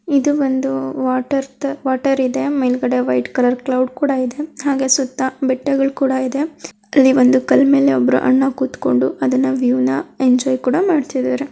ಇದು ಬಂದು water the water ಇದೆ ಮೇಲಗಡೆ ಕ್ಲೌಡ್ ಕೂಡ ಇದೆ ಹಾಗೆ ಸುತ್ತಾ ಬೆಟ್ಟ ಕೂಡ ಇದೆ. ಅಲ್ಲಿ ಒಂದು ಕಲ್ಲು ಮೇಲೆ ಒಬ್ಬ ಅಣ್ಣ ಕುತ್ಕೊಂಡು ಎಂಜಾಯ್ ಮಾಡ್ತಾ ಇದ್ದಾರೆ.